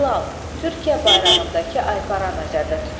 Hilal, Türkiyə bayrağındakı aypara nəzərdə tutulur.